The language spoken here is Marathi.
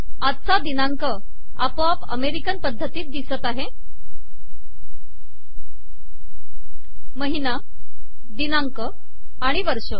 आजचा दिनांक आपोआप अमेरिकन पद्धतीत दिसत आहे ः महिना दिनांक आणि वर्ष